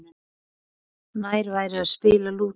Nær væri að spila Lúdó.